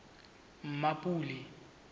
mmapule